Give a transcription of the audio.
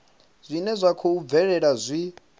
zwine zwa khou bvelela zwi